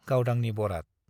गावदांनि बराद